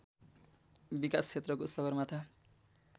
विकास क्षेत्रको सगरमाथा